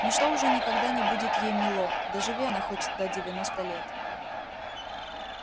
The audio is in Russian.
ничто уже никогда не будет ей мило доживи она хоть до девяноста лет